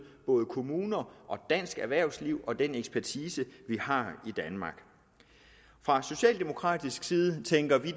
både kommuner og dansk erhvervsliv og den ekspertise vi har i danmark fra socialdemokratisk side tænker vi